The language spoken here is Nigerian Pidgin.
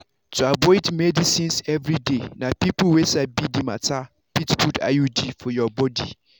to avoid medicines everyday na people wey sabi the matter fit put iud for your body.